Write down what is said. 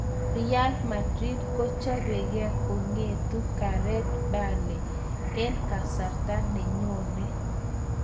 Real Madrid bkochopekee kongetu Gareth Bale eng kasarta ne nyone.